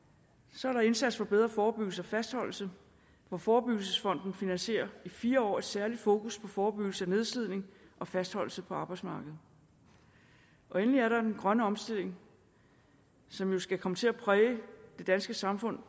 så er der indsats for bedre forebyggelse og fastholdelse hvor forebyggelsesfonden finansierer i fire år et særligt fokus på forebyggelse af nedslidning og fastholdelse på arbejdsmarkedet endelig er der den grønne omstilling som jo skal komme til at præge det danske samfund